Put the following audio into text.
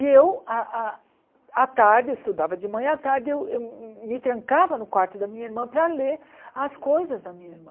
E eu, à à à tarde, eu estudava de manhã, à tarde eu eu me trancava no quarto da minha irmã para ler as coisas da minha irmã.